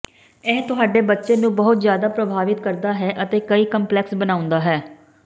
ਇਹ ਤੁਹਾਡੇ ਬੱਚੇ ਨੂੰ ਬਹੁਤ ਜ਼ਿਆਦਾ ਪ੍ਰਭਾਵਿਤ ਕਰਦਾ ਹੈ ਅਤੇ ਕਈ ਕੰਪਲੈਕਸ ਬਣਾਉਂਦਾ ਹੈ